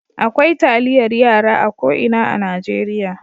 Akwai taliyar yara a ko ina a Najeriya.